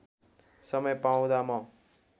समय पाउँदा म